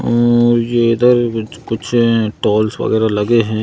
और ये इधर कुछ टोल वगैरह लगे हैं।